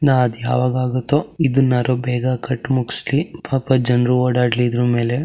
ನಾ ಅದ್ಯಾವಾಗಾಗತ್ತೋ ಎದ್ದನಂದ್ರು ಬೇಗ ಕಟ್ ಮುಗ್ಸ್ಲಿ ಪಾಪ ಜನರು ಓಡಾಡ್ಲಿ ಇದ್ರುಮೇಲೇ --